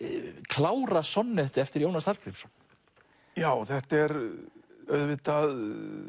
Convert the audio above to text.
klára eftir Jónas Hallgrímsson já þetta er auðvitað